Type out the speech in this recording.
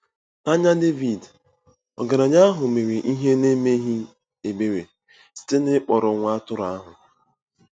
N’anya Devid, ọgaranya ahụ mere ihe n’emeghị ebere site n’ịkpọrọ nwa atụrụ ahụ.